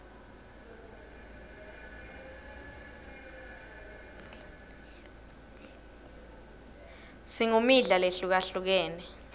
singmidla lehlukahlukene